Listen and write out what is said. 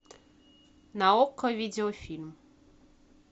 на окко видеофильм